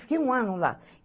Fiquei um ano lá.